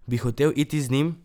Bi hotel iti z njim?